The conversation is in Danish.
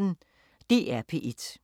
DR P1